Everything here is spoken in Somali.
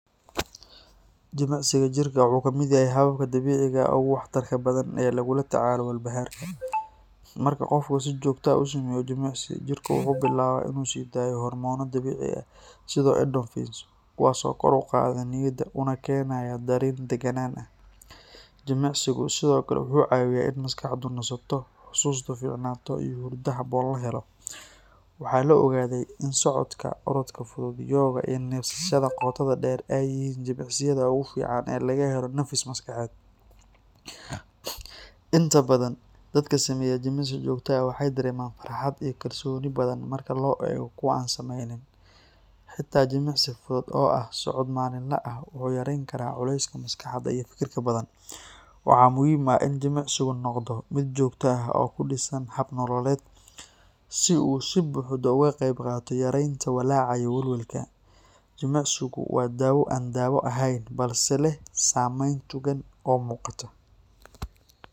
Jimicsiga jirka wuxuu ka mid yahay hababka dabiiciga ah ee ugu waxtarka badan ee lagula tacaalo walbahaarka. Marka qofku si joogto ah u sameeyo jimicsi, jirku wuxuu bilaabaa inuu sii daayo hormoono dabiici ah sida endorphins kuwaas oo kor u qaada niyadda una keenaya dareen degganaan ah. Jimicsigu sidoo kale wuxuu caawiyaa in maskaxdu nasato, xusuustu fiicnaato, iyo hurdo habboon la helo. Waxaa la ogaaday in socodka, orodka fudud, yoga, iyo neefsashada qoto dheer ay yihiin jimicsiyada ugu fiican ee laga helo nafis maskaxeed. Inta badan dadka sameeya jimicsi joogto ah waxay dareemaan farxad iyo kalsooni badan marka loo eego kuwa aan sameynin. Xitaa jimicsi fudud oo ah socod maalinle ah wuxuu yareyn karaa culeyska maskaxda iyo fikirka badan. Waxaa muhiim ah in jimicsigu noqdo mid joogto ah oo ku dhisan hab-nololeed, si uu si buuxda uga qayb qaato yareynta walaaca iyo welwelka. Jimicsigu waa dawo aan daawo ahayn balse leh saameyn togan oo muuqata.